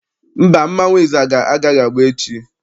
Mba, mmọnwụ ịzaga agaghị agba echi.